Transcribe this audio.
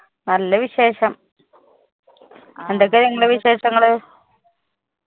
നല്ല വിശേഷം എന്തൊക്കെ നിങ്ങളെ വിശേഷങ്ങള്